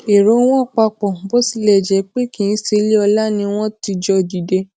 ero won papo bó tilè jé pé kii seile ola ni won ti jo dide